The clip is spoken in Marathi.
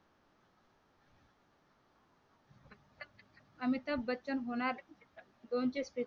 अमिताभ बच्चन होणार कोणचे?